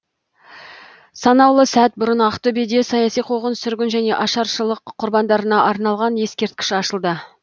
санаулы сәт бұрын ақтөбеде саяси қуғын сүргін және ашаршылық құрбандарына арналған ескерткіш ашылды